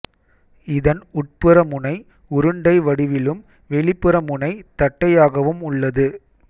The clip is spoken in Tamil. இதன் உட்புற முனை உருண்டை வடிவிலும் வெளிப்புற முனை தட்டையாகவும் உள்ளது